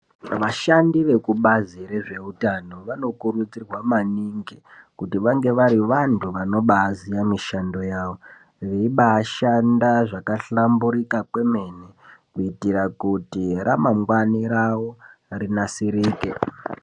Vashandi vebazi rezveutano vanokurudzirwa maningi kuti vange vari vantu vanobaaziye mishando yavo veiba shanda zvakahlamburika kwomene kuitira kuti ramangwani ravo rinasirike.